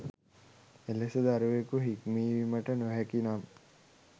එලෙස දරුවකු හික්මවීමට නොහැකි නම්